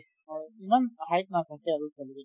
হয় ইমান height নাথাকে আৰু